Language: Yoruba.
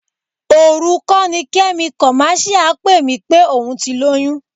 Òru kọ́ ni Kẹ́mi kọ̀máṣíà pè mí pé òun ti lóyún?